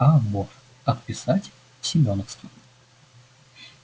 а вот отписать в семёновский